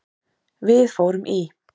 Við fórum í